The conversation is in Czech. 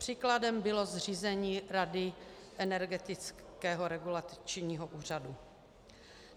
Příkladem bylo zřízení Rady Energetického regulačního úřadu.